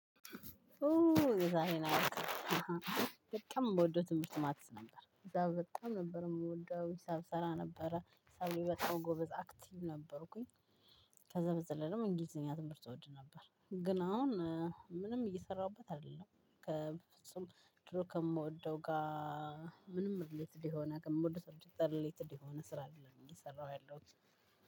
ኡ እዛ ይሄን አወቀ በጣም የምወደው ትምህርት ማትስ ነበር እዛ በጣም ነበር የምወደው ሂሳብ ሰራ ነበረ ሂሳብ በጣም ጎበዝ አክቲቭ ነበርኩኝ። ከዛ በዘለለም እንግሊዘኛ ትምህርት እወድ ነበር። ግን አሁን ምንም እየሰራሁበት አይደለም። ከፍጹም ድሮ ከምወደው ጋር ምንም ሪሌትድ የሆነ ከምወደው ሪሌትድ የሆነ ስራ አይደለም እየሰራሁ ያለት።